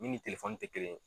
Min ni ti kelen ye.